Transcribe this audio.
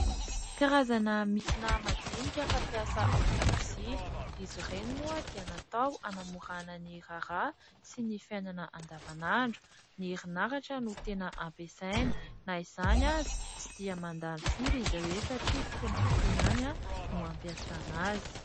Karazana milina madinika fampiasa ao an-dakozia. Izy ireny moa dia natao hanamorana ny raharaha sy ny fiainana andavanandro. Ny erinaratra no tena ampiasaina. Na izany aza tsy dia mandany firy izy ireny satria fotoana fohy ihany no ampiasana azy.